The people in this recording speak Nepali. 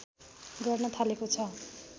गर्न थालेको छ